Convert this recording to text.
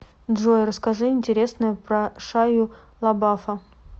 джой расскажи интересное про шайю лабафа